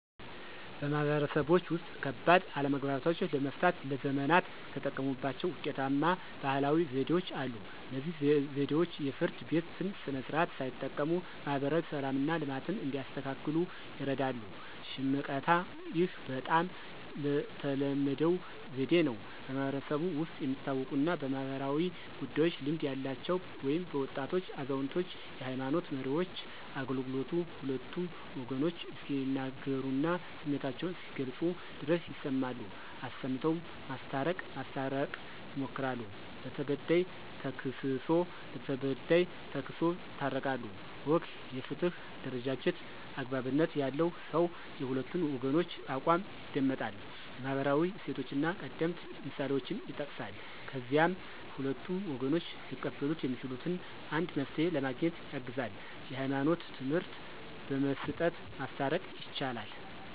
ማህበረሰቦች ውስጥ፣ ከባድ አለመግባባቶችን ለመፍታት ለዘመናት የተጠቀሙባቸው ውጤታማ ባህላዊ ዘዴዎች አሉ። እነዚህ ዘዴዎች የፍርድ ቤትን ስርዓት ሳይጠቀሙ ማህበራዊ ሰላምና ልማትን እንዲያስከትሉ ይርዳሉ። ሽምቀታ (፦ ይህ በጣም ተለመደው ዘዴ ነው። በማህበረሰቡ ውስጥ የሚታወቁና በማኅበራዊ ጉዳዮች ልምድ ያላቸው (በወጣቶች፣ አዛውንቶች፣ የሃይማኖት መሪዎች) አገልግሎቱ ሁለቱም ወገኖች እስኪናገሩና ስሜታቸውን እስኪገልጹ ድረስ ይሰማሉ፣ አሰምተው ማስታረቅ ማስታረቅ ይሞክራሉ። ለተበዳይ ተክስሶ ለበዳይ ተክሶ ይታረቃሉ። ወግ (የፍትህ አደረጃጀት)፦ )" አግባብነት ያለው ሰው የሁለቱን ወገኖች አቋም ይደመጣል፣ የማህበራዊ እሴቶችንና ቀደምት ምሳሌዎችን ይጠቅሳል፣ ከዚያም ሁለቱም ወገኖች ሊቀበሉት የሚችሉትን አንድ መፍትሄ ለማግኘት ያግዛል። የህይማኖት ትምህርት በመስጠት ማስታረቅ። ይቻላል